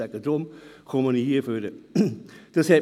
deshalb bin ich hier am Rednerpult.